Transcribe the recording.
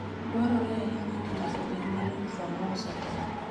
Dwarore ahinya ni ng'ato obed maler sama ouso tong'.